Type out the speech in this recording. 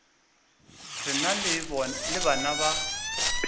re na le bana ba